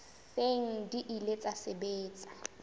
seng di ile tsa sebetsa